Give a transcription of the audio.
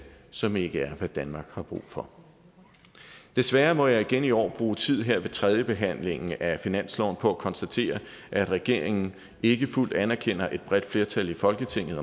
som ikke er hvad danmark har brug for desværre må jeg igen i år bruge tid her ved tredjebehandlingen af finansloven på at konstatere at regeringen ikke fuldt anerkender et bredt flertal i folketinget